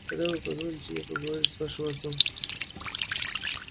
когда вы позволите мне поговорить с вашим отцом